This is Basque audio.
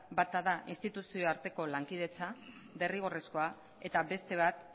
bata da instituzioen arteko derrigorrezko lankidetza eta bestea da